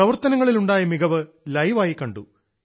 പ്രവർത്തനങ്ങളിൽ ഉണ്ടായ മികവു ലൈവ് ആയി കണ്ടു